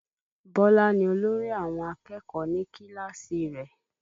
Bọlá ni olórí àwọn akẹ́kọ̀ọ́ ní kíláàsì rẹ̀